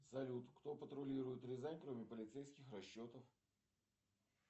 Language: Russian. салют кто патрулирует рязань кроме полицейских расчетов